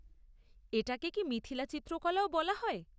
এটা কে কি মিথিলা চিত্রকলাও বলা হয়?